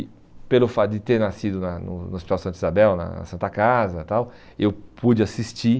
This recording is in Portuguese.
E pelo fato de ter nascido na no Hospital Santa Isabel, na Santa Casa e tal, eu pude assistir.